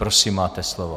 Prosím, máte slovo.